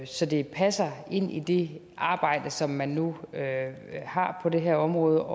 så det passer ind i det arbejde som man nu har på det her område